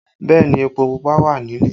Bẹẹ ni, epo Pupa wà nílé